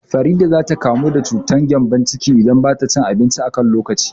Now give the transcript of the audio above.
Farida za ta kamu da cutar gƴambon ciki idan bata cin abinci a kan lokaci